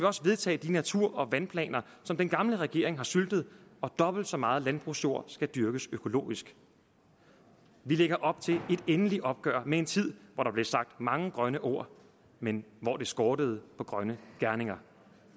også vedtage de natur og vandplaner som den gamle regering har syltet og dobbelt så meget landbrugsjord skal dyrkes økologisk vi lægger op til et endeligt opgør med en tid hvor der blev sagt mange grønne ord men hvor det skortede på grønne gerninger